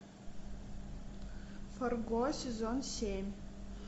фарго сезон семь